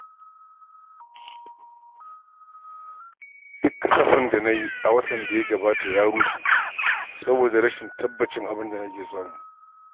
Duk kasafin da na yi a watan da ya gabata ya rushe, saboda rashin tabbacin abin da nake samu.